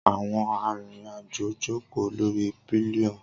Awọn arinrin-ajo joko lori pillion.